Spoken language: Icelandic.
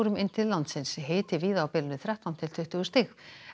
inn til landsins hiti víða á bilinu þrettán til tuttugu stig